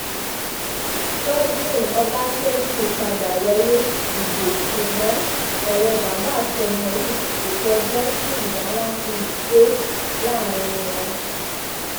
godwin ọbaṣẹ́kí padà wọlé ìbò ṣùgbọ́n ọ̀rẹ́ bàbá àtọmọ yìí kò tọ́jọ́ tí ìjà ńlá fi dé láàrín wọn